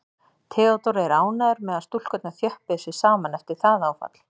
Theodór er ánægður með að stúlkurnar þjöppuðu sig saman eftir það áfall.